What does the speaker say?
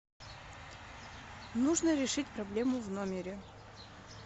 нужно решить проблему в номере